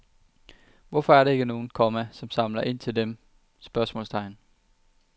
Hvorfor er der ikke nogen, komma som samler ind til dem? spørgsmålstegn